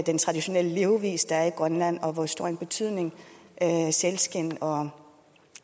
den traditionelle levevis der er i grønland og hvor stor en betydning sælskind og